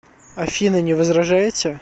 афина не возражаете